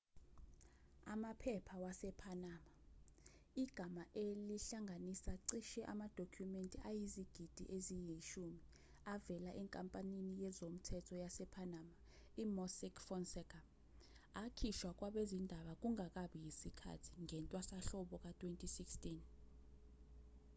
amaphepha wasepanama igama elihlanganisa cishe amadokhumenti ayizigidi eziyishumi avela enkampanini yezomthetho yasepanama i-mossack fonseca akhishwa kwabezindaba kungakabi yisikhathi ngentwasahlobo ka-2016